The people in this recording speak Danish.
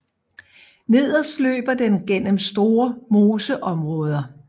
Nederst løber den gennem store moseområder